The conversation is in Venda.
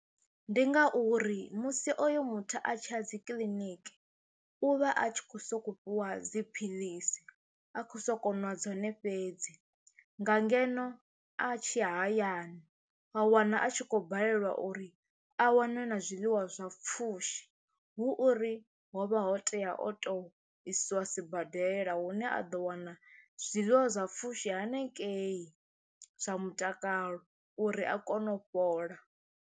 Ndi ngauri musi oyo muthu a tshi ya dzi kiḽiniki u vha a tshi khou sokou fhiwa dziphilisi a khou sokou nwa dzone fhedzi nga ngeno a tshi ya hayani wa wana a tshi khou balelwa uri a wane na zwiḽiwa zwa pfhushi, hu uri ho vha ho tea o tou isiwa sibadela hune a ḓo wana zwiḽiwa zwa pfhushi hanengei zwa mutakalo uri a kone u fhola.